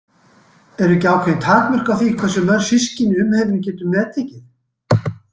Eru ekki ákveðin takmörk á því hversu mörg systkini umheimurinn getur meðtekið?